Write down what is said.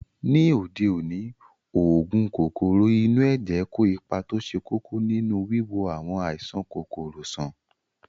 Ní òde òní, oògùn kòkòrò inú ẹ̀jẹ̀ kó ipa tó ṣe kókó nínú wíwo àwọn àìsàn kòkòrò sàn